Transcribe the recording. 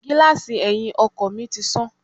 Gíláàsì ẹyin ọkọ̀ mi tí sán.